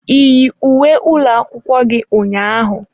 Ị yi uwe ụlọ akwụkwọ gi ụnyaahụ?